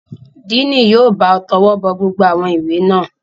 Díìnì yóò bá ọ tọwọ́bọ gbogbo àwọn ìwé náà.